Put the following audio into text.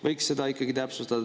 Võiks seda ikkagi täpsustada.